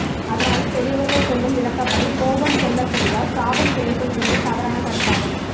அதனால் பெரியவர்கள் சொல்லும் விளக்கப்படி கோபம் கொள்ள செய்தால் சாபம் கிடைக்கும் என்பது தவறான கருத்தாகும்